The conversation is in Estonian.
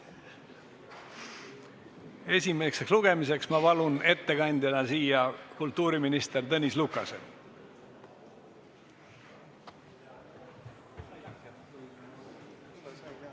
Esimese lugemise ettekandeks palun kõnetooli kultuuriminister Tõnis Lukase!